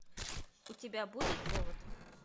у тебя будет повод